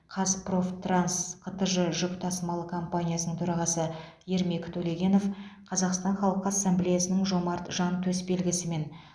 қазпрофтранс қтж жүк тасымалы компаниясының төрағасы ермек төлегенов қазақстан халқы ассамблеясының жомарт жан төсбелгісімен